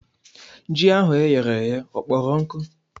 Ji ahụ e ghere eghe ọ kpọrọ nkụ?